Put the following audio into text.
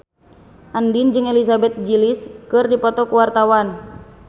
Andien jeung Elizabeth Gillies keur dipoto ku wartawan